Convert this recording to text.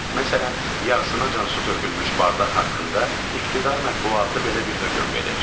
Məsələn, yarısınacan su tökülmüş bardaq haqqında iqtidar mətbuatı belə bir hökm verir.